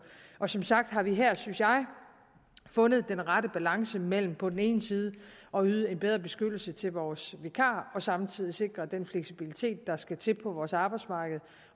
som sagt har vi her synes jeg fundet den rette balance mellem på den ene side at yde en bedre beskyttelse til vores vikarer og samtidig sikre den fleksibilitet der skal til på vores arbejdsmarked